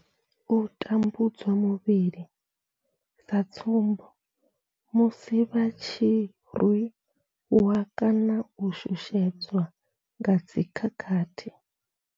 U tambudzwa muvhili sa tsumbo, musi vha tshi rwi wa kana u shushedzwa nga dzi khakhathi.